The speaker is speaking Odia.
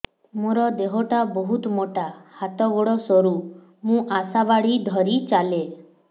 ମୋର ଦେହ ଟା ବହୁତ ମୋଟା ହାତ ଗୋଡ଼ ସରୁ ମୁ ଆଶା ବାଡ଼ି ଧରି ଚାଲେ